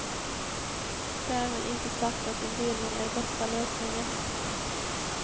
Därmed inte sagt att en delning är bästa lösningen.